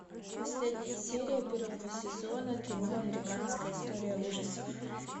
последняя серия первого сезона кино американская история ужасов